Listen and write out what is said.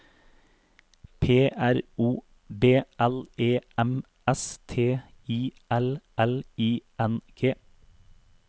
P R O B L E M S T I L L I N G